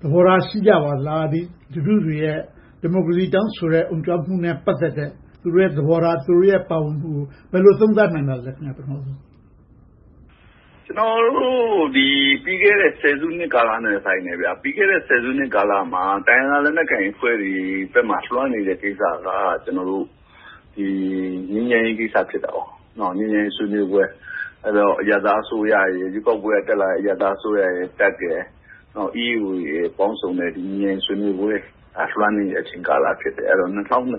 သဘောထား ရှိကြပါသလား။ လူထုတွေရဲ့ ဒီမိုကရေစီ တောင်းဆိုတဲ့ အုံကြွမှုနဲ့ ပတ်သက်တဲ့ သူတို့ရဲ့သဘောထား၊ သူတို့ရဲ့ ပါဝင်ပတ်သက်မှုကို ဘယ်လိုသုံးသပ်နိုင်ပါသလဲ။ ဖြေ ။ ။ ကျနော်တို့ ပြီးခဲ့တဲ့ စုနှစ်တဲ့ ဆိုင်တယ်။ ပြီးခဲ့တဲ့ စုနှစ်ကာလမှာ တိုင်းရင်းသားလက်နက်ကိုင်အဖွဲ့တွေဘက်မှာ လွှမ်းနေတဲ့ကိစ္စက ငြိမ်းချမ်းရေးကိစ္စ ဖြစ်တယ်။ ငြိမ်းချမ်းရေးဆွေးနွေးပွဲ။ ရွေးကောက်ပွဲနဲ့ တက်လာတဲ့ အရပ်သားအစိုးရရယ်၊ တပ်ရယ်၊ EAO တို့ပေါင်စုံတဲ့ ငြိမ်းချမ်းရေးဆွေးနွေးပွဲ လွှမ်းနေတဲ့ကာလ ဖြစ်တယ်။ ၂၀၂၁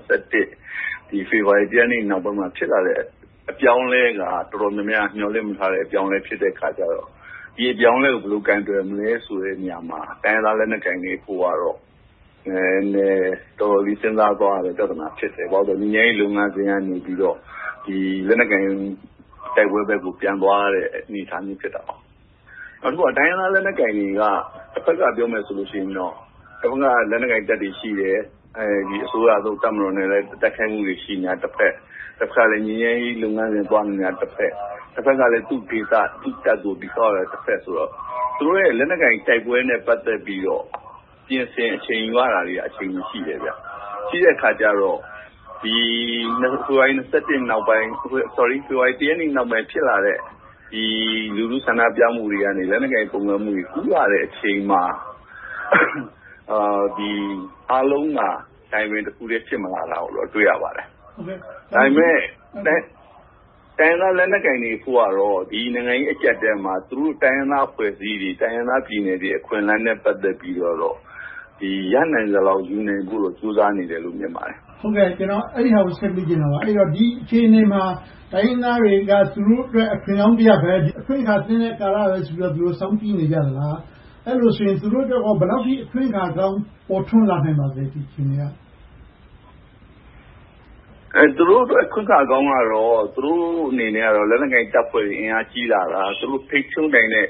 ဖေဖေါ်ဝါရီလ ရက်နေ့ နောက်ပိုင်းမှာ ဖြစ်လာတဲ့ အပြောင်းအလဲက တော်တော်များများ မျှော်လင့်မထားတဲ့ အပြောင်းအလဲ ဖြစ်တဲ့အခါကြတော့ ဒီအပြောင်းအလဲကို ဘယ်လိုကိုင်တွယ်မလဲဆိုတဲ့နေရာမှာ တိုင်းရင်းသားလက်နက်ကိုင်တွေအဖို့ နည်းနည်းတော်တော်လေး စဉ်းစားသွားရတဲ့ ပြဿနာ ဖြစ်တယ်။ ဘာဖြစ်လို့လဲဆိုတော့ ငြိမ်းချမ်းရေးလုပ်ငန်းစဉ်ကနေပြီးတော့ လက်နက်ကိုင် တိုက်ပွဲဘက်ကို ပြန်သွားရတဲ့အနေအထား ဖြစ်တယ်။ နောက်တခုက တိုင်းရင်းသားလက်နက်ကိုင်တွေက တဘက်ကပြောမယ်ဆိုရင်တော့ တဘက်မှာ လက်နက်ကိုင်တပ်တွေရှိတယ်။ အစိုးရနဲ့ လက်နက်ကိုင်တိုက်နေတာတဖွဲ့၊ တဘက်ကလဲ ငြိမ်းချမ်းရေးလုပ်ငန်းစဉ်သွားနေတာ တဖွဲ့။ တဘက်ကလဲ သူ့ဒေသ၊ သူ့တပ်ကို တည်ဆောက်နေတာဆိုတော့ သူတို့ရဲ့ လက်နက်ကိုင်တိုက်ပွဲနဲ့ ပတ်သက်ပြီးတော့ ပြင်ဆင်အချိန်ယူရတာတွေက အချိန်ရှိတော့ ဖေဖေါ်ဝါရီ ရက်နေ့နောက်ပိုင်း ဖြစ်လာတဲ့ လူထုဆန္ဒပြမှုတွေကနေ လက်နက်ကိုင်ပုန်ကန်မှုတွေ ကူးလာတဲ့အချိန်မှာ အားလုံးက timing တခုတည်း ဖြစ်မလာတာကို တွေ့ရပါတယ်။ ဒါပေမဲ့ တိုင်းရင်းသားလက်နက်ကိုင်တွေအဖို့ကတော့ ဒီနိုင်ငံရေးအကျပ်အတည်းမှာ သူတို့တိုင်းရင်းသားအဖွဲ့အစည်းတွေ၊ တိုင်းရင်းသားဒေသ အခွင့်အလမ်းတွေနဲ့ ပတ်သက်ပြီးတော့ ရနိုင်သလောက် ယူနိုင်ဖို့ ကြိုးစားနေတယ်လို့ မြင်ပါတယ်။ မေး ။ ။ ကျနော် အဲဒါကိုဆက်မေးချင်တာပါ။ ဒီအခြေအနေမှာ တိုင်းရင်းသားတွေက သူတို့အတွက် အခွင့်ကောင်းတရပ်ပဲ၊ အခွင့်အခါသင့်တဲ့ကာလတခုလို့ သူတို့ စောင့်ကြည့်နေကြလား။ အဲဒီလိုဆိုရင် သူတို့အတွက် ဘယ်လောက်အထိ အခွင့်အခါကောင်း ပေါ်ထွန်းလာသလဲ ဒီအခြေအနေက။ ဖြေ ။ ။ သူတို့အတွက် အခွင့်အခါကောင်းကတော့ သူတို့အနေနဲ့ လက်နက်ကိုင်တပ်ဖွဲ့တွေ အင်အားကြီးလာတာ။ သူတို့ထိန်းချုပ်နိုင်တဲ့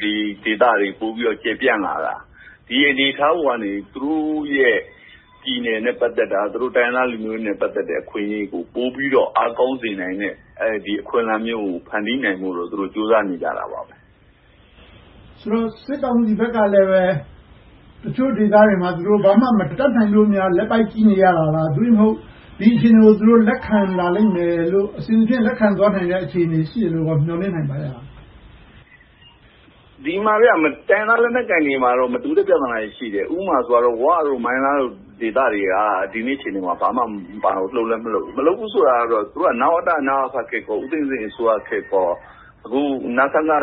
ဒေသတွေ ပိုပြီးတော့ ကျယ်ပြန့်လာတာ။ ဒီအနေအထားပေါ်ကနေ သူတို့ရဲ့ ပြည်နယ်နဲ့ပတ်သက်တာ၊ တိုင်းရင်းသားလူမျိုးတွေနဲ့ ပတ်သက်တဲ့ အခွင့်အရေးတွေကို ပိုပြီးတော့ အားကောင်းစေနိုင်တဲ့ အခွင့်အလမ်းမျိုးကို ဖန်တီးနိုင်ဖို့ ကြိုးစားနေကြတာပဲ။ မေး ။ ။ ဆိုတော့ စစ်ကောင်စီဘက်ကလဲ တချို့ဒေသတွေမှာ ဘာမှမတတ်နိုင်လို့ လက်ပိုက်ကြည့်နေရတာလား။ သို့တည်းမဟုတ် ဒီအခြေအနေကို လက်ခံလာလိမ့်မယ်လို့ အဆင်သဖြင့် လက်ခံသွားနိုင်မယ့် အခြေအနေကို မျှော်လင့်နိုင်သလား။ ဖြေ ။ ။ တိုင်းရင်းသားလက်နက်ကိုင်တွေမှာတော့ မတူူတဲ့ပြဿနာတွေ ရှိတယ်။ ဥပမာ ဝ၊ မိုင်းလားတို့ ဒေသတွေက ဒီနေ့အခြေအနေမှာ ဘာမှမပါဝင်၊ လှုပ်လဲမလှုပ်ဘူး။ မလှုပ်ဘူးဆိုတာက သူတို့က နဝတ၊ နအဖခေတ်၊ ဦးသိန်းစိန်ခေတ်၊ အခု နစကအာဏာ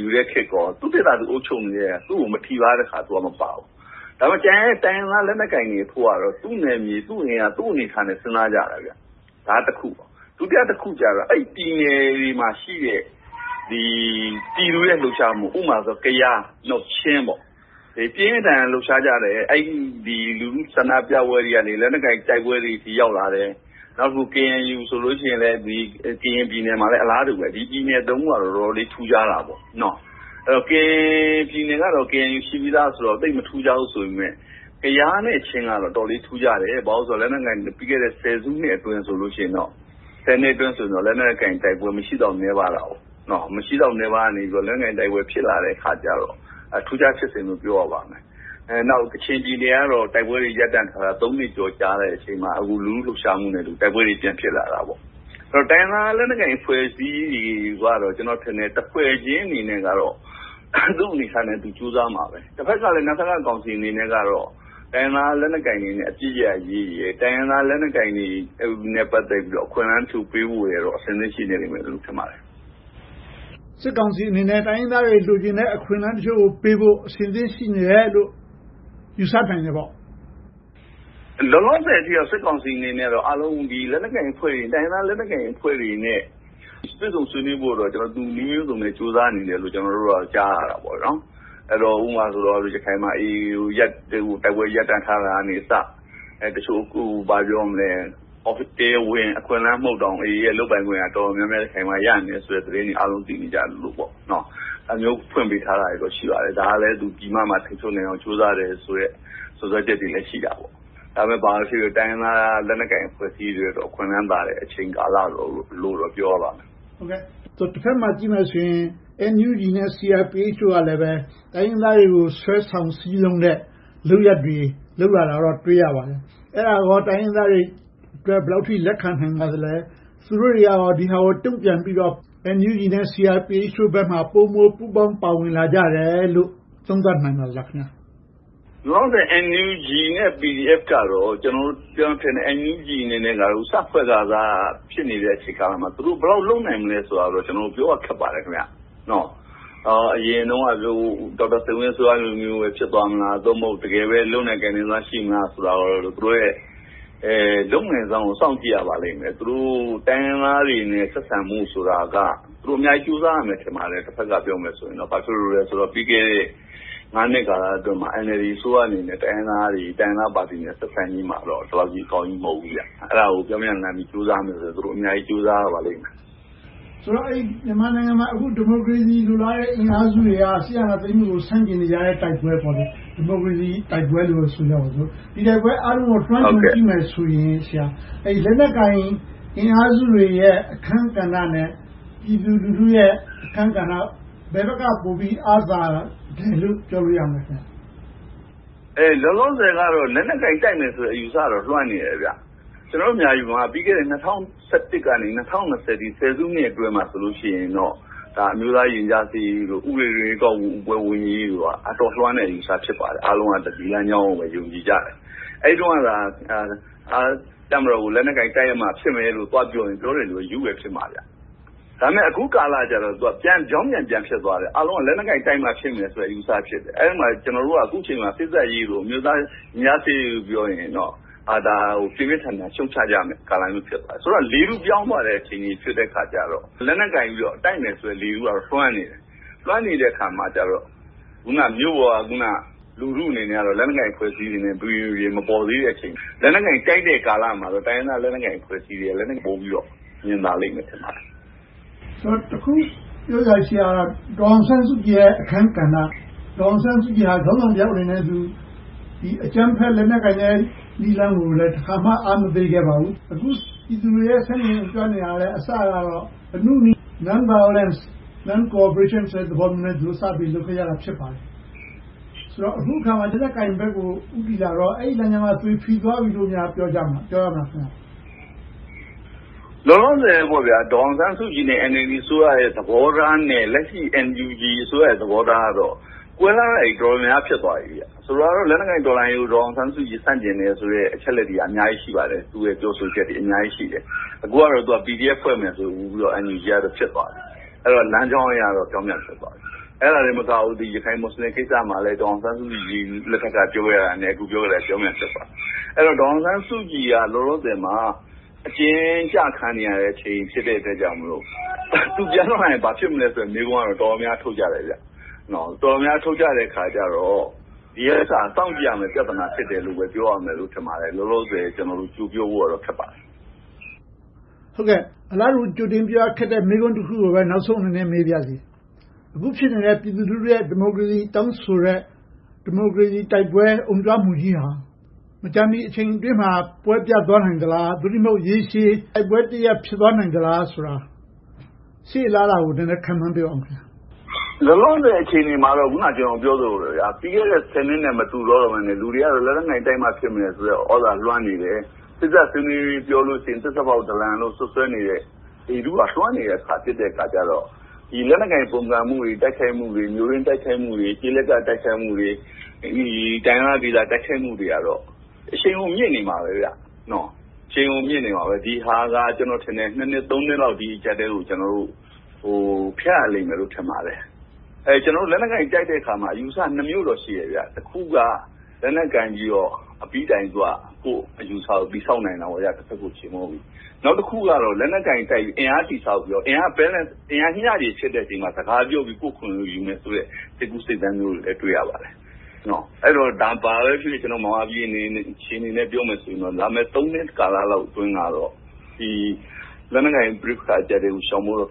ယူတဲ့ခေတ်ကော သူတို့ဒေသ၊ သူတို့အုပ်ချုပ်နေတာ သူကို မထိပါးရင် သူကတော့မပါဘူး။ ဒါပေမဲ့ ကျန်တဲ့တိုင်းရင်းသား လက်နက်ကိုင်တွေအဖို့ကတော့ သူ့နယ်မြေ၊ သူ့အနေအထားနဲ့ စဉ်းစားကြတာ။ ဒါကတခု။ ဒုတိယတခုကတော့ အဲဒီပြည်နယ်တွေမှာရှိတဲ့ ပြည်သူတွေရဲ့ လှုပ်ရှားမှု။ ဥပမာ ကယား၊ ချင်းတို့ ပြင်းပြင်းထန်ထန် လှုပ်ရှားကြတယ်။ လူထုဆန္ဒပြပွဲတွေကနေ လက်နက်ကိုင်တိုက်ပွဲတွေဆီ ရောက်လာတယ်။ နောက် KNU ဆိုရင်လဲ ကရင်ပြည်နယ်မှာဆိုလဲ အလားတူပဲ။ ဒီပြည်နယ်သုံးခုက တော်တော်လေး ထူးခြားတယ်။ ကရင်ပြည်နယ်ကတော့ KNU ရှိပြီသားဆိုတော့ သိပ်မထူးခြားဘူးဆိုပေမယ့်၊ ကယားနဲ့ ချင်းကတော့ အတော်လေး ထူးခြားတယ်။ ဘာဖြစ်လို့လဲဆိုတော့ ပြီးခဲ့တဲ့ ဆယ်စုနှစ်အတွင်းဆိုရင်တော့ လက်နက်ကိုင်တိုက်ပွဲ မရှိသလောက်နည်းပါးခဲ့တဲ့ အခြေအနေကနေ လက်နက်ကိုင်တိုက်ပွဲ ဖြစ်လာခဲ့တော့ ထူးခြားဖြစ်စဉ်လို့ ပြောရပါမယ်။ နောက် ကချင်ပြည်နယ်ကတော့ တိုက်ပွဲတွေ ရပ်တန့်ထားတာ နှစ်ကျော်ကြာတဲ့အချိန်မှာ အခုလူထုလှုပ်ရှားမှုနဲ့အတူ တိုက်ပွဲတွေ ပြန်ဖြစ်လာတာပေါ့။ တိုင်းရင်းသားလက်နက်ကိုင် အဖွဲ့အစည်းတွေကတော့ တဖွဲ့ချင်းအနေနဲ့တော့ သူ့အနေအထားနဲ့သူ ကြိုးစားမှာပဲ။ တဘက်ကလဲ နစကကောင်စီကတော့ တိုင်းရင်းသားလက်နက်ကိုင်တွေနဲ့ အပစ်ရပ်ရေးနဲ့ တိုင်းရင်းသားလက်နက်ကိုင်တွေနဲ့ ပတ်သက်ပြီးတော့ အခွင့်အလမ်းထူပေးရေးဖို့တော့ အဆင်သင့်ရှိနေမယ်လို့ ထင်ပါတယ်။ မေး ။ ။ စစ်ကောင်စီအနေနဲ့ တိုင်းရင်းသားတွေ လိုချင်တဲ့ အခွင့်အလမ်းတချို့ကိုပေးဖို့ အဆင်သင့်ရှိနေတယ်လို့ ယူဆနိုင်တယ်ပေါ့။ ဖြေ ။ ။ လောလောဆယ်အနေနဲ့ စစ်ကောင်စီအနေနဲ့ တိုင်းရင်းသားလက်နက်ကိုင်အဖွဲ့တွေနဲ့ တွေ့ဆုံဆွေးနွေးဖို့တော့ နည်းမျိုးစုံနဲ့ ကြိုးစားနေတယ်လို့ ကျနော်တို့ ကြားသိရတယ်။ ဥပမာ ရခိုင်မှာ AA နဲ့ တိုက်ပွဲရပ်တန့်ထားတာကအစ တချို့တရားဝင် အခွင့်အလမ်းမဟုတ်တောင်၊ AA ရဲ့ လုပ်ပိုင်ခွင့် တော်တော်များများ ရနေတယ်ဆိုတဲ့သတင်း အားလုံးသိနေကြတယ်။ ဒါမျိုးဖွင့်ပေးထားတာ ရှိပါတယ်။ ဒါကလဲ ပြည်မမှာ ထိန်းချုပ်နိုင်အောင် ကြိုးစားနေတယ်ဆိုတဲ့ စွပ်စွဲချက်တွေလည်း ရှိတယ်။ ဘာပဲဖြစ်ဖြစ် တိုင်းရင်းသားလက်နက်ကိုင် အဖွဲ့အစည်းတွေအတွက် အခွင့်လမ်းသာတဲ့ အချိန်ကာလလို့တော့ ပြောရပါမယ်။ မေး ။ ။ တဘက်မှာကြည့်မယ်ဆိုရင် NUG နဲ့ CRPH တို့ကလည်း တိုင်းရင်းသားတွေကို ဆွဲဆောင်စည်းရုံးတဲ့ လုပ်ရပ်တွေ လုပ်လာတာကို တွေ့ရပါတယ်။ အဲဒါကော တိုင်းရင်းသားတွေအတွက် ဘယ်လောက်အထိ လက်ခံနိုင်ပါသလဲ။ သူတို့တွေက ဒါတွေကို တုံ့ပြန်ပြီးတော့ NUG နဲ့ CRPH တို့ဘက်ကို ပိုမိုပူးပေါင်းပါဝင်လာကြတယ်လို့ သုံးသပ်နိုင်ပါသလား။ ဖြေ ။ ။ လောလောဆယ် NUG နဲ့ PDF တို့ကတော့ NUG အနေနဲ့ စဖွဲ့ခါစ အချိန်ကာလမှာ သူတို့ဘယ်လောက်လုပ်နိုင်မလဲဆိုတာကို ကျနော်တို့ ပြောရခက်ပါတယ်။ အရင်တုန်းက ဒေါက်တာစိန်ဝင်းအစိုးရလိုမျိုး ဖြစ်သွားမလား။ သို့မဟုတ် တကယ်ပဲ လုပ်နိုင်ကိုင်နိုင်မလားဆိုတာကို သူတို့ရဲ့ လုပ်နိုင်စွမ်းကို စောင့်ကြည့်ရပါလိမ့်မယ်။ သူတို့ တိုင်းရင်းသားတွေနဲ့ ဆက်ဆံမှုဆိုတာက သူတို့အများကြီး ကြိုးစားရပါလိမ့်မယ်။ ဘာဖြစ်လို့လဲဆိုတော့ ပြီးခဲ့တဲ့ နှစ်ကာလအတွင်းမှာ NLD အစိုးရအနေနဲ့ တိုင်းရင်းသားတွေ၊ တိုင်းရင်းသားပါတီတွေနဲ့ ဆက်ဆံရေးမှာ ဒီလောက်ကြီးအကောင်းကြီး မဟုတ်ဘူး။ အဲဒါကို ပြောင်းပြန်လှန်ပြီး သူတို့ အများကြီးကြိုးစားရပါလိမ့်မယ်။ မေး ။ ။ ဆိုတော့ မြန်မာနိုင်ငံမှာ ဒီမိုကရေစီ လိုလားတဲ့အင်အားစုတွေက စစ်အာဏာသိမ်းမှုကို ဆန့်ကျင်နေကြတဲ့ တိုက်ပွဲ။ ဒီမိုကရေစီတိုက်ပွဲလို့ပဲ ဆိုကြပါစို့။ ဒီတိုက်ပွဲအားလုံးကို လွှမ်းခြုံကြည့်မယ်ဆိုရင် လက်နက်ကိုင်အင်အားစုတွေရဲ့ အခန်းကဏ္ဍနဲ့ ပြည်သူလူထုရဲ့ အခန်းကဏ္ဍ ဘယ်ဘက်ကပိုပြီး အားသာတယ်လို့ ပြောလို့ရမလဲ။ ဖြေ ။ ။ လောလောဆယ်ကတော့ လက်နက်ကိုင်တိုက်မယ်ဆိုတဲ့ အယူအဆကတော့ လွှမ်းနေတယ်။ ကျနော်တို့ မြန်မာပြည်မှာ ၂၀၁၁ ကနေ ၂၀၂၀ အထိ ဆယ်စုနှစ်အတွင်းမှာ အမျိုးသားရင်ကြာစေ့ရေးတို့၊ ဥပဒေတွင်းဝင် ရွေးကောက်ပွဲဝင်ရေးတို့က အတော်လွှမ်းတဲ့ အယူအဆ ဖြစ်ပါတယ်။ အားလုံးက ဒီလမ်းကြောင်းကိုပဲ ယုံကြည်ကြတယ်။ အဲဒီတုန်းကသာ တပ်မတော်ကို လက်နက်ကိုင် တိုက်ရမှဖြစ်မယ်လို့ သွားပြောရင် ပြောတဲ့လူက ရူးနေတယ်လို့ ထင်ခံရမှာ။ ဒါပေမဲ့ အခုကာလကြတော့ ပြောင်းပြန်ပြန်ဖြစ်သွားတယ်။ အားလုံးက လက်နက်ကိုင်တိုက်မှ ဖြစ်မယ်ဆိုတဲ့ အယူအဆဖြစ်တယ်။ အဲဒီမှာ ကျနော်တို့က စေ့စပ်ရေးတို့၊ အမျိုးသားရင်ကြားစေ့ရေးတို့ ပြောတယ်ဆိုရင်တော့ ဒါကို ပြင်းပြင်းထန်ထန် ရှုတ်ချကြတဲ့ကာလ ဖြစ်နေတယ်။ ဆိုတော့ လေထုပြောင်းသွားတဲ့ အခြေအနေဖြစ်တော့ လက်နက်ကိုင်ပြီးတော့ တိုက်မယ်ဆိုတဲ့ လေထုကတော့ လွှမ်းနေတယ်။ လွှမ်းနေတဲ့အခါမှာကြတော့ အခုနမြို့ပေါ်က လူထုအနေနဲ့တော့ လက်နက်ကိုင်အဖွဲ့အစည်းတွေ မပီမပြင် မပေါ်သေးတဲ့အချိန်။ လက်နက်ကိုင်တိုက်တဲ့ကာလမှာတော့ တိုင်းရင်းသားလက်နက်ကိုင်အဖွဲ့အစည်းတွေက လုပ်ကိုင်မှုကို ပိုမြင်လာပါလိမ့်မယ်။ မေး ။ ။ တခုပြောစရာရှိတာက ဒေါ်အောင်ဆန်းစုကြည်ရဲ့ အခန်းကဏ္ဍ။ ဒေါ်အောင်ဆန်းစုကြည်က ခေါင်းဆောင်တယောက်အနေနဲ့ အကြမ်းဖက်လက်နက်ကိုင်တဲ့ နည်းလမ်းကို တခါမှ အားမပေးခဲ့ပါဘူး။ အခုပြည်သူတွေ ဆန့်ကျင်အုံကြွနေတာလဲ အစကတော့ အနုနည်းလမ်းစဉ် Non-violence, Non-cooperation ဆိုတဲ့ သဘောနဲ့ စပြီးလှုပ်ရှားခဲ့ကြတာ ဖြစ်ပါတယ်။ ဆိုတော့ အခုအခါမှာ လက်နက်ကိုင်ဘက်ကို ဦးတည်လာတော့ အဲဒီလမ်းကြောင်းက သွေဖီသွားပြီလို့ ပြောကြမလား။ ဖြေ ။ ။ လောလောဆယ် ဒေါ်အောင်ဆန်းစုကြည်နဲ့ NLD အစိုးရရဲ့ သဘောထားနဲ့ လက်ရှိ NUG ရဲ့ သဘောထားကတော ကွဲပြားတာတွေ တော်တော်များများ ဖြစ်သွားပြီ။ ဆိုပါတော့ လက်နက်ကိုင်တော်လှန်ရေးကို ဒေါ်အောင်ဆန်းစုကြည် ဆန့်ကျင်တယ်ဆိုတဲ့ အချက်အလက်တွေက အများကြီးရှိပါတယ်။ သူ့ရဲ့ ပြောဆိုချက်တွေ အများကြီးရှိတယ်။ အခုကတော့ PDF ဖွဲ့မယ်ဆိုပြီးတော့ NUG ကတော့ ဖြစ်သွားပြီ။ အဲဒီတော့ လမ်းကြောင်းအရတော့ ပြောင်ပြန်ဖြစ်သွားပြီ။ အဲဒါတင်မကဘူး ရခိုင်-မူစလင်ကိစ္စမှာလဲ ဒေါ်အောင်ဆန်းစုကြည်လက်ထက်က ပြောခဲ့တာနဲ့ အခုပြောနေတာနဲ့ ပြောင်ပြန်ဖြစ်သွားပြီ။ အဲဒီတော့ ဒေါ်အောင်ဆန်းစုကြည်က လောလောဆယ်မှာ အကျဉ်းကျခံနေရတဲ့အချိန် ဖြစ်တဲ့အတွက်ကြောင့်မို့ သူပြန်ထွက်လာရင် ဘာဖြစ်မလဲဆိုတဲ့ မေးခွန်းကတော့ တော်တော်များများ ထုတ်ကြတယ်။ တော်တော်များများ ထုတ်ကြတဲ့အခါကြတော့ ဒီဥစ္စာက စောင့်ကြည့်ရမယ့် ပြဿနာ ဖြစ်တယ်လို့ လောလောဆယ် ပြောရလိမ့်မယ်။ ကြိုပြောဖို့တော့ ခက်ပါတယ်။ မေး ။ ။ အလားတူ ကြိုတင်ပြီးတော့ ခက်တဲ့မေးခွန်းတခုကိုပဲ နောက်ဆုံးအနေနဲ့ မေးပါရစေ။ အခုဖြစ်နေတဲ့ ပြည်သူလူထုရဲ့ ဒီမိုကရေစီ တောင်းဆိုနေတဲ့ ဒီမိုကရေစီတိုက်ပွဲ အုံကြွမှုကြီးက မကြာမီအချိန်ကာလအတွင်းမှာ ပွဲပြတ်သွားနိုင်သလား။ သို့တည်းမဟုတ် ရေရှည်တိုက်ပွဲတရပ် ဖြစ်သွားနိုင်သလားဆိုတာ ရှေ့အလားအလာကို ခန့်မှန်းပြောပေးပါ။ ဖြေ ။ ။ လောလောဆယ် အခြေအနေမှာတော့ အခုန ကျနော်ပြောသလို ပြီးခဲ့တဲ့ ဆယ်စုနှစ်နဲ့ မတူတော့ဘဲနဲ့ လူတွေက လက်နက်ကိုင်တိုက်မှာ ဖြစ်တော့မယ်ဆိုတဲ့ သြဇာလွှမ်းနေတယ်။ စေ့စပ်ဆွေးနွေးဖို့ ပြောတယ်ဆိုရင် သစ္စာဖောက်ဒလန်လို့ စွပ်စွဲနေတဲ့ လေထုက လွှမ်းနေတဲ့အခါ ဖြစ်နေတော့ လက်နက်ကိုင် ပုန်ကန်မှုတွေ၊ တိုက်ခိုက်မှုတွေ၊ မြို့တွင်းတိုက်ခိုက်မှုတွေ၊ ကျေးလက်တိုက်ခိုက်မှုတွေ၊ တိုင်းရင်းသားဒေသ တိုက်ခိုက်မှုတွေကတော့ အရှိန်အဟုန် မြင့်နေမှာပဲ။ ဒီဟာက ကျနော်ထင်တယ် - နှစ် နှစ်လောက် ဒီအကျပ်အတည်းကို ကျနော်တို့ ဖြတ်ရလိမ့်မယ်လို့ ထင်ပါတယ်။ လက်နက်ကိုင်တိုက်တဲ့အခါမှာ အယူအဆနှစ်မျိုးတော့ ရှိတယ်။ တခုက လက်နက်ကိုင်ပြီးတော့ အပြီးတိုင် ကိုယ့်အယူအဆကို တည်ဆောက်တာ - တဘက်ကို ချေမှုန်းပြီ။ နောက်တခုကတော့ လက်နက်ကိုင်တိုက်ပြီး အင်အားတည်ဆောက်ပြီးတော့ အင်အား balance မျှချေရှိတဲ့အချိန်မှာ စကားပြောပြီး ကိုယ့်အခွင့်အရေးကိုယူမယ်ဆိုတဲ့ စိတ်ကူးစိတ်သန်းမျိုးတွေလည်း တွေ့ရပါတယ်။ ဘာပဲဖြစ်ဖြစ် မြန်မာပြည်အခြေအနေနဲ့ ပြောမယ်ဆိုရင် လာမယ့် နှစ်ကာလလောက်အတွင်းတော့ လက်နက်ကိုင်ပဋိပက္ခကို ရှောင်ဖို့တော့